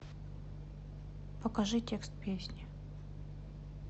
покажи текст песни